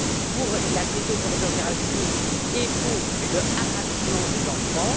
pour la pédopornographie et pour le harcèlement des enfants.